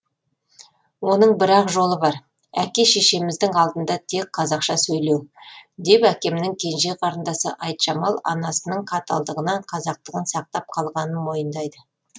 оның бір ақ жолы бар әке шешеміздің алдында тек қазақша сөйлеу деп әкемнің кенже қарындасы айтжамал анасының қаталдығынан қазақтығын сақтап қалғанын мойындайды